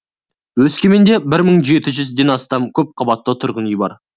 өскеменде бір мың жеті жүзден астам көпқабатты тұрғын үй бар